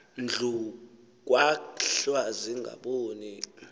ndlu kwahlwa zingaboni